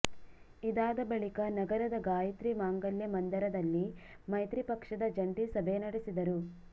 ಇದಾದ ಬಳಿಕ ನಗರದ ಗಾಯಿತ್ರಿ ಮಾಂಗಲ್ಯ ಮಂದಿರದಲ್ಲಿ ಮೈತ್ರಿ ಪಕ್ಷದ ಜಂಟಿ ಸಭೆ ನಡೆಸಿದರು